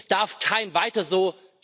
Es darf kein Weiter so!,